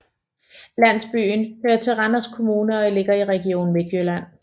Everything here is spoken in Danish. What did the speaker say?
Landsbyen hører til Randers Kommune og ligger i Region Midtjylland